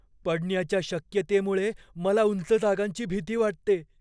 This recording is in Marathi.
पडण्याच्या शक्यतेमुळे मला उंच जागांची भीती वाटते.